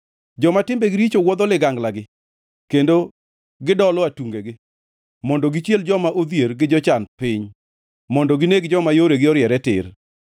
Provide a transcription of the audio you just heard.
Joma timbegi richo wuodho liganglagi kendo gidolo atungegi, mondo gichiel joma odhier gi jochan piny, mondo gineg joma yoregi oriere tir.